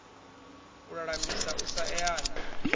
u lulamisa u sa eana